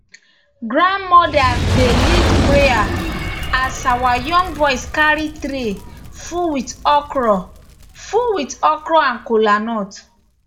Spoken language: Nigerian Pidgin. grandmothers dey lead prayer as young boys carry tray full with okra full with okra and kolanut